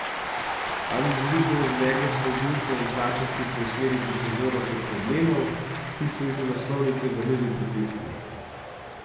Ali želi kdo z meglo solzivca in plačanci preusmeriti pozornost od problemov, ki so jih na naslovnice vrnili protesti?